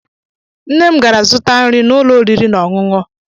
Nne m gara zụta nri n'ụlọ oriri na ọṅụṅụ